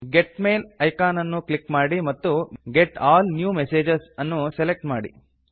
get mail icon ಅನ್ನು click ಮಾಡಿ ಮತ್ತು ಗೆಟ್ ಆಲ್ ನ್ಯೂ ಮೆಸೇಜಸ್ ಅನ್ನು ಸೆಲೆಕ್ಟ್ ಮಾಡಿ